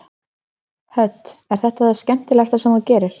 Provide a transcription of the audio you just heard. Hödd: Er þetta það skemmtilegasta sem þú gerir?